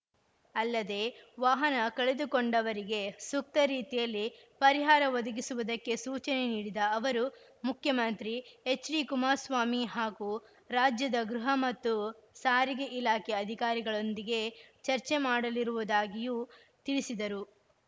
ಅಲ್ಲದೇ ವಾಹನ ಕಳೆದುಕೊಂಡವರಿಗೆ ಸೂಕ್ತ ರೀತಿಯಲ್ಲಿ ಪರಿಹಾರ ಒದಗಿಸುವುದಕ್ಕೆ ಸೂಚನೆ ನೀಡಿದ ಅವರು ಮುಖ್ಯಮಂತ್ರಿ ಎಚ್‌ಡಿಕುಮಾರ್ಸ್ವಾಮಿ ಹಾಗೂ ರಾಜ್ಯದ ಗೃಹ ಮತ್ತು ಸಾರಿಗೆ ಇಲಾಖೆ ಅಧಿಕಾರಿಗಳೊಂದಿಗೆ ಚರ್ಚೆ ಮಾಡಲಿರುವುದಾಗಿಯೂ ತಿಳಿಸಿದರು